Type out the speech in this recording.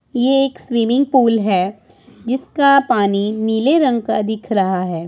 ये एक swimming pool है जिसका पानी नीले रंग का दिख रहा है।